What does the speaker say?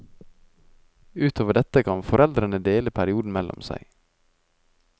Ut over dette kan foreldrene dele perioden mellom seg.